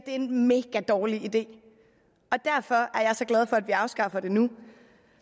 er en megadårlig idé og derfor er jeg så glad for at vi afskaffer det nu